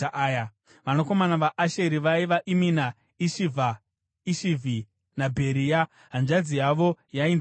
Vanakomana vaAsheri vaiva: Imina, Ishivha, Ishivhi naBheria. Hanzvadzi yavo yainzi Sera.